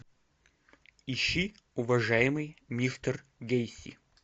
ищи уважаемый мистер гейси